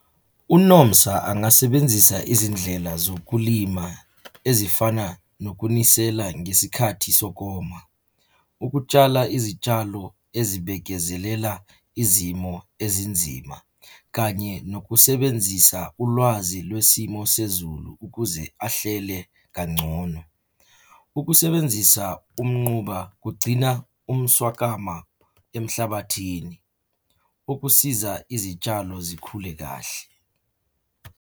UNomsa angasebenzisa izindlela zokulima ezifana nokunisela ngesikhathi sokoma. Ukutshala izitshalo ezibekezelela izimo ezinzima kanye nokusebenzisa ulwazi lwesimo sezulu ukuze ahlele kangcono. Ukusebenzisa umnquba kugcina umswakama emhlabathini ukusiza izitshalo zikhule kahle.